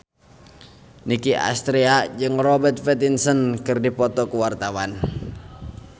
Nicky Astria jeung Robert Pattinson keur dipoto ku wartawan